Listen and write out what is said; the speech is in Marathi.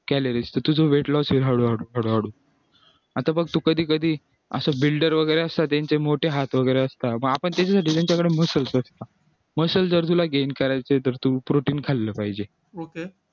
calories तर तुझं weight loss हळूहळू आता बघ तू कधी कधी builder वगैरे असतात त्यांचे मोठे हात वगैरे असतात मग आपण त्याच्यासाठी त्यांच्याकडे muscl muscl जर तुला gain करायचे तर तू protein खाल्लं पाहिजे